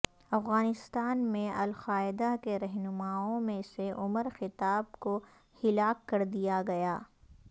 افغانستان میں القاعدہ کے رہنماوں میں سےعمر خطاب کو ہلاک کردیا گیا